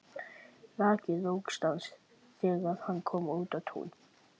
Rak í rogastans þegar hann kom út á Tún.